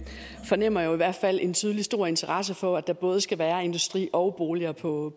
fornemmer jo i hvert fald en tydelig stor interesse for at der både skal være industri og boliger på